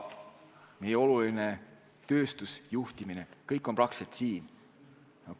Meie oluline tööstus, juhtimine – kõik on praktiliselt siin.